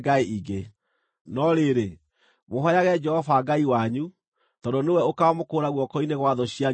No rĩrĩ, mũhooyage Jehova Ngai wanyu; tondũ nĩwe ũkaamũkũũra guoko-inĩ gwa thũ cianyu ciothe.”